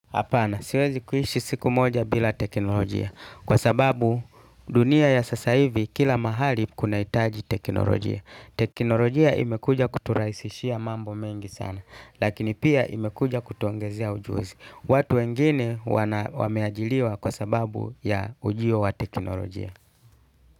Hapana siwezi kuishi siku moja bila teknolojia. Kwa sababu dunia ya sasa hivi kila mahali kunahitaji teknolojia. Teknolojia imekuja kuturahisishia mambo mengi sana. Lakini pia imekuja kutuongezea ujuzi. Watu wengine wameajiriwa kwa sababu ya ujio wa teknolojia.